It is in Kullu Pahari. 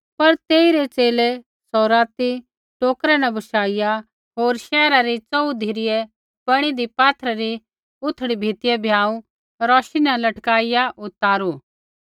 पर तेइरै च़ेले सौ राती टोकरै न बशाइआ होर शैहरा री च़ोहू धिरै बणीदी पाथरा री उथड़ी भीतिऐ भ्याँऊ रौशी न लटकाइआ उतारू